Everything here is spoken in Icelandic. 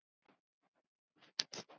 Og hvað merkir þetta?